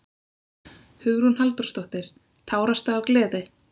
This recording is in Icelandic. Hugrún Halldórsdóttir: Tárastu af gleði?